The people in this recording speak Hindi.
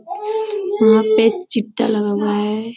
यहाँ पर लगा हुआ है।